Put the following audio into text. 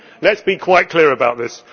Let us be quite clear about that.